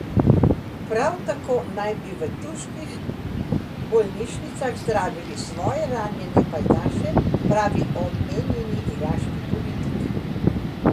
Prav tako naj bi v turških bolnišnicah zdravili svoje ranjene pajdaše, pravi omenjeni iraški politik.